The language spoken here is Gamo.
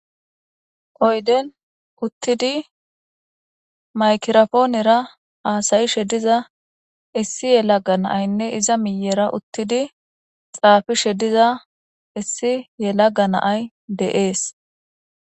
oyden uttidi maykirafoonera haasayishe diza issi yelaga naa'anne iza miyera uttidi xaafishe diza issi yelaga na'ay de'ees